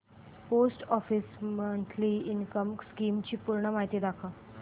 post office monthly income scheme ची पूर्ण माहिती दाखव